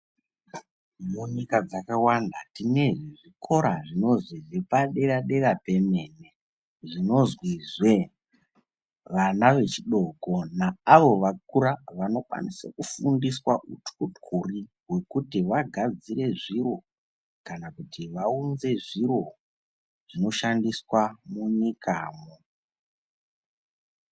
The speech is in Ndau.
Munyika dzakawanda tine zvikora zvinozwi zvepadera dera pemene zvinozwizve vana vechidoko naavo vakura vanokwanisa kufundiswa uthyothyori hwekuti vagadzire zviro kana kuti vaunze zviro zvinoshandiswa munyikamo.